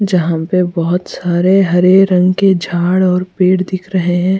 जहाँ पर बहुत सारे हरे रंग के झाड़ और पेड़ दिख रहे हैं --